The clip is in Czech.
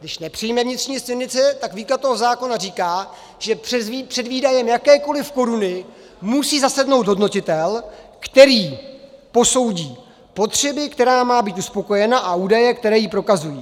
Když nepřijme vnitřní směrnici, tak výklad toho zákona říká, že před výdajem jakékoli koruny musí zasednout hodnotitel, který posoudí potřebu, která má být uspokojena, a údaje, které ji prokazují.